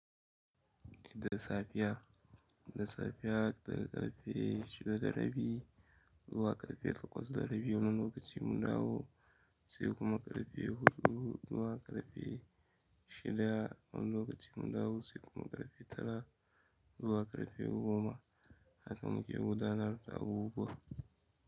Da safiya daga ƙarfe shida da rabi zuwa ƙarfe takwas da rabi wani lokaci mun dawo sai kuma ƙarfe huɗu zuwa ƙarfe shida wani lokaci mun dawo sai kuma ƙarfe tara zuwa ƙarfe goma. Haka muke gudanar da abubuwa.